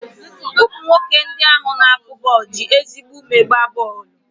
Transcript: Ụmụ nwoke ndị ahụ na-akụ bọọlụ ji ezigbo ume gbaa bọọlụ.